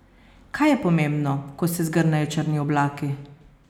Kaj je pomembno, ko se zgrnejo črni oblaki?